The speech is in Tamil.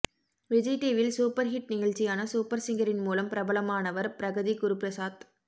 விஜய் டிவியில் சூப்பர் ஹிட் நிகழ்ச்சியான சூப்பர் சிங்கரின் மூலம் பிரபலமானவர் பிரகதி குருபிரசாத்